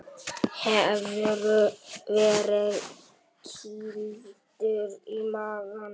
Hefurðu verið kýldur í magann?